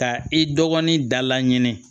Ka i dɔgɔnin da laɲini